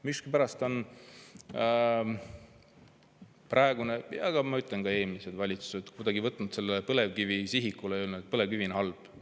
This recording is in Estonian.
Miskipärast on praegune, aga ma ütlen, ka eelmised valitsused, kuidagi võtnud põlevkivi sihikule ja öelnud, et põlevkivi on halb.